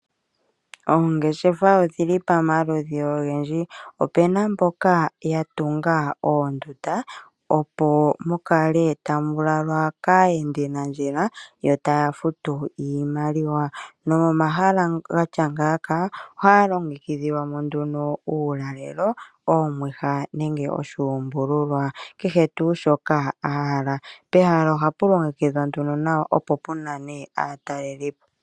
Oongeshefa odhili pamaludhi ogendji. Opena mboka ya tunga oondunda opo mu kale tamu lalwa kaayendinandjila, yo taya futu iimaliwa. Nomomahala gatya ngaaka ohaya longekidhilwa mo nduno uulalelo, oomwiha nenge oshuumbululwa. Kehe tuu shoka a hala, pehala ohapu longekidhwa nduno nawa opo pu nane aatalelipo.